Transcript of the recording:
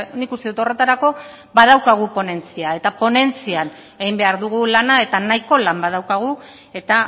nik uste dut horretarako badaukagu ponentzia eta ponentzian egin behar dugu lana eta nahiko lan badaukagu eta